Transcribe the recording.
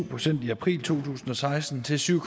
procent i april to tusind og seksten til syv